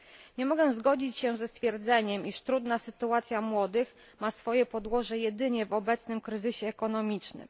Nie mogę zgodzić się ze stwierdzeniem, że trudna sytuacja młodych ludzi ma swoje podłoże jedynie w obecnym kryzysie gospodarczym.